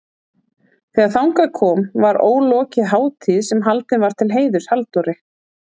Þegar þangað kom var ólokið hátíð sem haldin var til heiðurs Halldóri